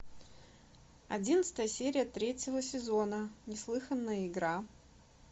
одиннадцатая серия третьего сезона неслыханная игра